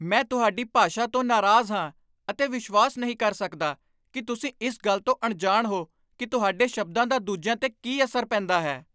ਮੈਂ ਤੁਹਾਡੀ ਭਾਸ਼ਾ ਤੋਂ ਨਾਰਾਜ਼ ਹਾਂ ਅਤੇ ਵਿਸ਼ਵਾਸ ਨਹੀਂ ਕਰ ਸਕਦਾ ਕਿ ਤੁਸੀਂ ਇਸ ਗੱਲ ਤੋਂ ਅਣਜਾਣ ਹੋ ਕਿ ਤੁਹਾਡੇ ਸ਼ਬਦਾਂ ਦਾ ਦੂਜਿਆਂ 'ਤੇ ਕੀ ਅਸਰ ਪੈਂਦਾ ਹੈ।